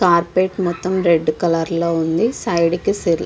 carpet మోతము red colour లొ ఉనాది సైడ్ కి --